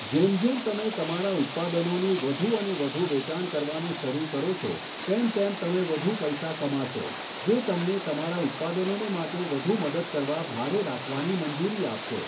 જેમ જેમ તમે તમારા ઉત્પાદનોનું વધુ અને વધુ વેચાણ કરવાનું શરૂ કરો છો, તેમ તેમ તમે વધુ પૈસા કમાશો, જે તમને તમારા ઉત્પાદનોને માટે વધુ મદદ કરવા માટે ભાડે રાખવાની મંજૂરી આપશે!